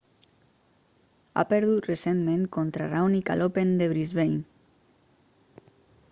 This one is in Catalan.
ha perdut recentment contra raonic a l'open de brisbane